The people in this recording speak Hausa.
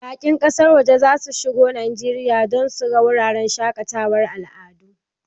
Bakin ƙasar waje za su shigo Najeriya domin su ga wuraren shaƙatawar al'adu.